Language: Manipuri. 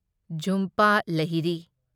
ꯓꯨꯝꯄ ꯂꯍꯤꯔꯤ